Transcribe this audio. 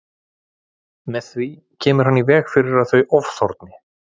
Með því kemur hann í veg fyrir að þau ofþorni.